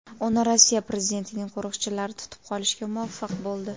Uni Rossiya prezidentining qo‘riqchilari tutib qolishga muvaffaq bo‘ldi.